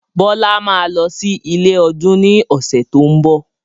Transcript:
Bọlá máa lọ sí ilé ọdún ni ọ̀sẹ̀ tó ń bọ̀.